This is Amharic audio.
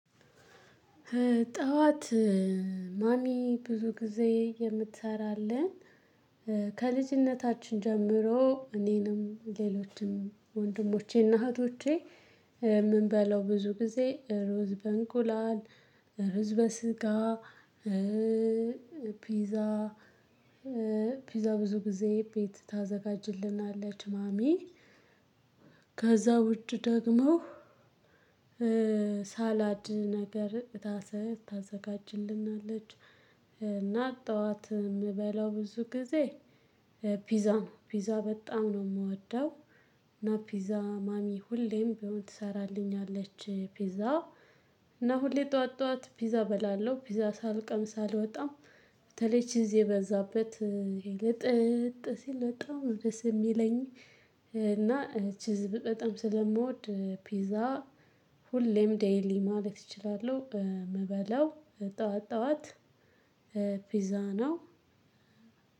ጠዋት ማሚ ብዙ ጊዜ የምትሰራለን ከልጅነታችን ጀምሮ እኔንም ሌሎችንም ወንድሞቼና እህቶቼ የምንበላው ብዙ ጊዜ ሩዝ በእንቁላል ሩዝ በስጋ ፒዛ ፒዛ ብዙ ጊዜ ቤት ታዘጋጅልናለች ማሚ። ከዛ ውጭ ደግሞ ሳላድ ነገር ታሰ ታዘጋጅልናለች። እና ጠዋት የምበላው ብዙ ጊዜ ፒዛ ነው ፒዛ በጣም ነው የምወደው። እና ፒዛ ማሚ ሁሌም ቢሆን ትሰራለች ፒዛ። እና ሁሌ ጠዋት ጠዋት ፒዛ እበላለው ፒዛ ሳልቀምስ አልወጣም። በተለይ ቺዝ የበዛበት ይሄ ልጥጥ ሲል በጣም ነው ደስ የሚለኝ። እና ቺዝ በጣም ስለምወድ ፒዛ። ሁሌም ዴይሊ ማለት እችላለሁ የምበላው ጠዋት ጠዋት ፒዛ ነው።